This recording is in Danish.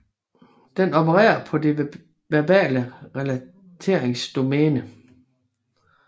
Den opererer på det verbale relateringsdomæne